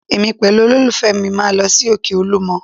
Èmi pẹ̀lú olólùfẹ́ mi máa lọ sí òkè Olúmọ